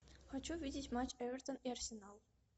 хочу увидеть матч эвертон и арсенал